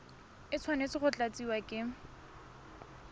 e tshwanetse go tlatsiwa ke